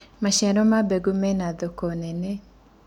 maciaro ma mboga mena thoko nene